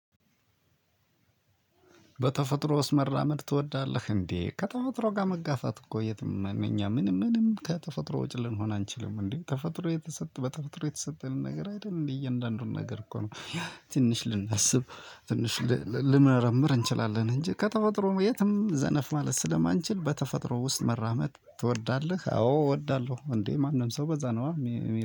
በተፈጥሮ ውስጥ መራመድ ትወዳለህ? እንዴ ከተፈጥሮ ጋር መጋፋት እኮ የትም እኛ ምንም፣ ምንም ከተፈጥሮ ውጭ ልንሆን አንችልም። እንዴ ተፈጥሮ የተሰጠ በተፈጥሮ የተሰጠንን ነገር አይደል እንዴ እያንዳንዱን ነገር እኮ ነው ትንሽ ልናስብ፣ ትንሽ ልንመረምር እንችላለን እንጂ ከተፈጥሮም የትም ዘነፍ ማለት ስለማንችል፣ በተፈጥሮ ውስጥ መራመድ ትወዳለህ? አዎ እወዳለሁ። እንዴ ማንም ሰው በዛ ነው